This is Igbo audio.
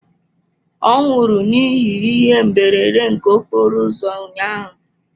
Ọ nwụrụ n'ihi ihe mberede nke okporo ụzọ ụnyaahụ.